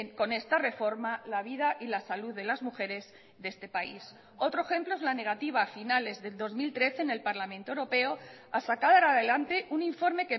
con esta reforma la vida y la salud de las mujeres de este país otro ejemplo es la negativa a finales del dos mil trece en el parlamento europeo a sacar adelante un informe